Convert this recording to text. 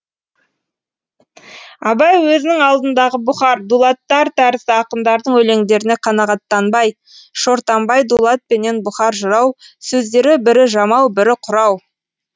абай өзінің алдындағы бұхар дулаттар тәрізді ақындардың өлеңдеріне қанағаттанбай шортанбай дулат пенен бұхар жырау сөздері бірі жамау бірі құрау